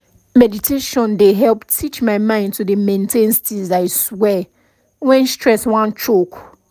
meditation dey help teach my mind to dey maintain steeze i swear when stress wan choke